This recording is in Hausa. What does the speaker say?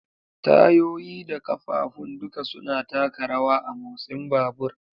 Tayoyi da ƙafafun duka suna taka rawa a motsin babur.